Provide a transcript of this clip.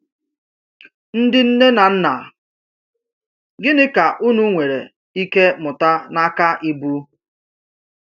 Ndị nne na nna, gịnị ka unu nwere ike mụta n’aka Ibu?